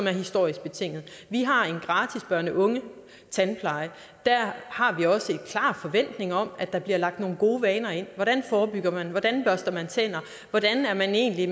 er historisk betinget vi har en gratis børne unge tandpleje der har vi også en klar forventning om at der bliver lagt nogle gode vaner ind hvordan forebygger man hvordan børster man tænder hvordan er man egentlig